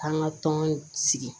K'an ka tɔn sigi